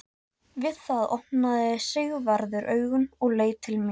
Við það opnaði Sigvarður augun og leit til mín.